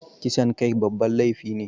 Kisan kai babban laifi ne